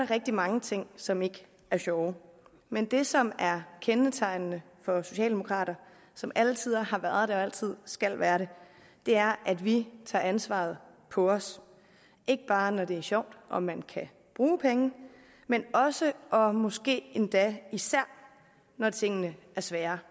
rigtig mange ting som ikke er sjove men det som er kendetegnende for socialdemokrater som altid har været det og altid skal være det er at vi tager ansvaret på os ikke bare når det er sjovt og man kan bruge penge men også og måske endda især når tingene er svære